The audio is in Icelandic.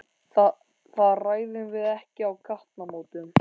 Það ræðum við ekki á gatnamótum.